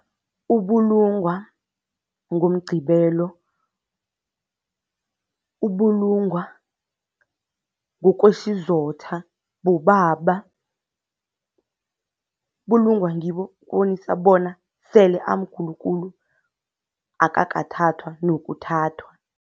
Ubulungwa ngoMgqibelo, ubulungwa ngokwesizotha bobaba, bulungwa ngibo bona sele amkhulu khulu, akakathathwa nokuthathwa.